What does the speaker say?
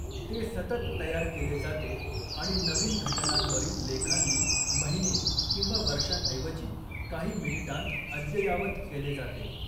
ते सतत तयार केले जाते आणि नवीन घटनांवरील लेखांनी महिने किंवा वर्षांऐवजी काही मिनिटांत अद्ययावत केले जाते.